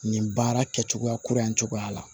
Nin baara kɛcogoya kura in cogoya la